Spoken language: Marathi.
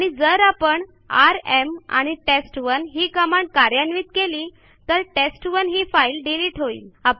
आणि जर आपण आरएम आणि टेस्ट1 ही कमांड कार्यान्वित केली तर टेस्ट1 ही फाईल डिलिट होईल